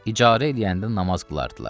İcarə eləyəndə namaz qılardılar.